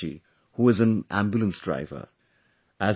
Prem Verma ji, who is an Ambulance Driver